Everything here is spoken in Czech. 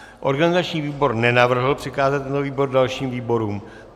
Organizační výbor nenavrhl přikázat tento návrh dalším výborům.